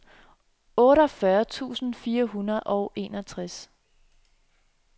otteogfyrre tusind fire hundrede og enogtres